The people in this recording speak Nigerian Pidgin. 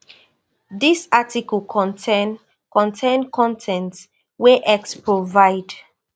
dis article contain contain con ten t wey x provide